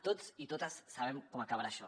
tots i totes sabem com acabarà això